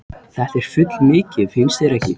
Þetta er fullmikið, finnst þér ekki?